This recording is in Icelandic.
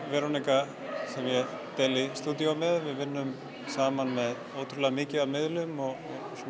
deili stúdíói með við vinnum saman með ótrúlega mikið af miðlum og